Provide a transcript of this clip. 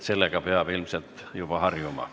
Sellega peab ilmselt juba harjuma.